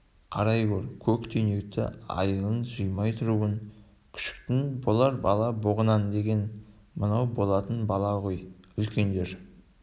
қарай гөр көктүйнекті айылын жимай тұруын күшіктің болар бала боғынан деген мынау болатын бала ғой үлкендер